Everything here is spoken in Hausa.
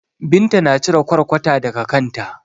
Binta na cire ƙwarƙwata daga kanta.